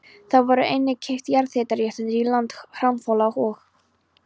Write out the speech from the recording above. Þá voru einnig keypt jarðhitaréttindi í landi Hrafnhóla og